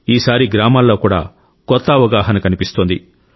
ఈసారి గ్రామాల్లో కూడా కొత్త అవగాహన కనిపిస్తోంది